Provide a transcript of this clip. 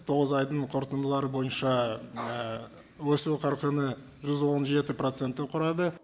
тоғыз айдың қорытындылары бойынша өсу қарқыны жүз он жеті процентті құрады